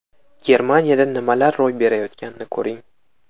Germaniyada nimalar ro‘y berayotganini ko‘ring.